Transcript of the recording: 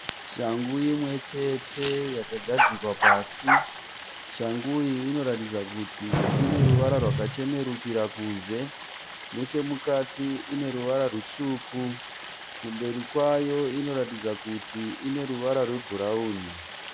Shangu imwechete yakagadzikwa pasi shangu iyi inotaridza kuti ineruvara rwakachenerukira kunze nechemukati ineruvara rutsvuku kumberi kwayo inoratidza kuti ineruvara rwebhurauni.